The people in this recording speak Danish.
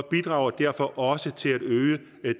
bidrager derfor også til at øge